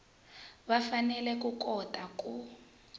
va fanele ku kota ku